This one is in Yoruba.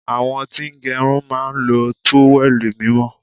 Àwọn tí ń gẹrun máa ń lo trówẹ́ẹ̀lì mímọ́.